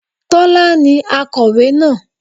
Tọ́lá ni akọ̀wé náà